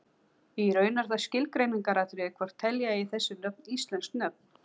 Í raun er það skilgreiningaratriði hvort telja eigi þessi nöfn íslensk nöfn.